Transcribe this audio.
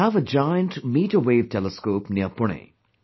We have a giant meterwave telescope near Pune